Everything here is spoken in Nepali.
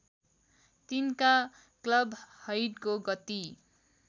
तिनका क्लबहैडको गति